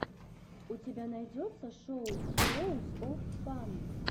у тебя найдется шоу хироус оф фан